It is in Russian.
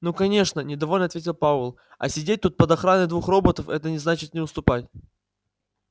ну конечно недовольно ответил пауэлл а сидеть тут под охраной двух роботов это не значит не уступать